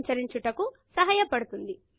సంచరించుటకు సహాయపడుతుంది